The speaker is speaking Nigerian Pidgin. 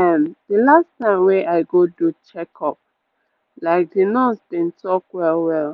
ehm the last time wey i go do check-uplike the nurse been talk well-well